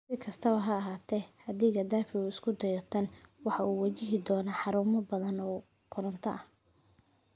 Si kastaba ha ahaatee, haddii Qadaafi uu isku dayo tan, waxa uu wajihi doonaa xarumo badan oo koronto ah.